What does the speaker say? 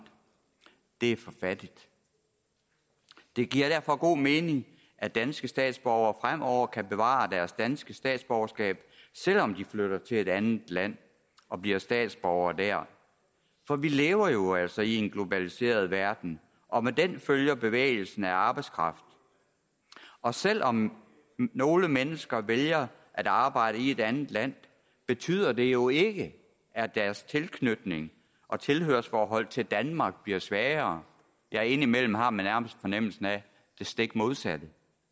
det er for fattigt det giver derfor god mening at danske statsborgere fremover kan bevare deres danske statsborgerskab selv om de flytter til et andet land og bliver statsborgere der for vi lever jo altså i en globaliseret verden og med den følger bevægelsen af arbejdskraft og selv om nogle mennesker vælger at arbejde i et andet land betyder det jo ikke at deres tilknytning og tilhørsforhold til danmark bliver svagere ja indimellem har man nærmest fornemmelsen af det stik modsatte